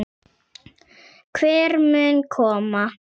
Hver mun koma?